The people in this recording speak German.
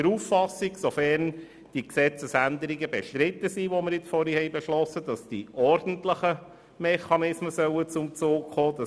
Sofern die Gesetzesänderungen bestritten sind, die wir vorhin beschlossen haben, ist die FiKo der Auffassung, dass die ordentlichen Mechanismen zum Zuge kommen sollten.